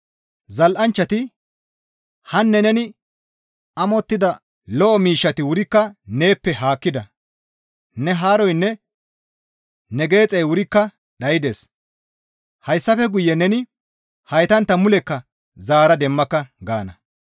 Zal7anchchati, «Hanne neni amottida lo7o miishshati wurikka neeppe haakkida; ne haaroynne ne geexey wurikka dhaydes; hayssafe guye neni heytantta mulekka zaara demmaka!» gaana.